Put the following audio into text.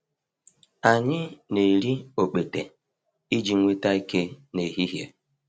Anyị na-eri okpete iji nweta ike n’ehihie.